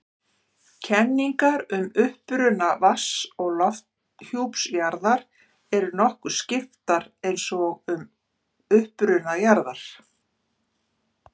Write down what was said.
Kenningar um uppruna vatns- og lofthjúps jarðar eru nokkuð skiptar eins og um uppruna jarðar.